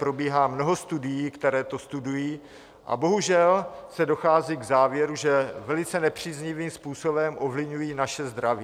Probíhá mnoho studií, které to studují, a bohužel se dochází k závěru, že velice nepříznivým způsobem ovlivňují naše zdraví.